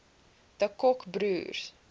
de kock broers